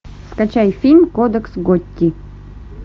скачай фильм кодекс готти